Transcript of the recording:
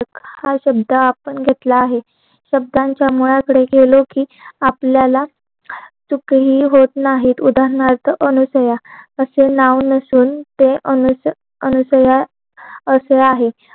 हा शब्द आपण घेतलेला आहे शब्दांचा मुळात आपण गेलो कि आपल्याला सुख हि होत नाही उदारणार्थ अनुसूया असे नाव नसून ते अनुसया असे आहेत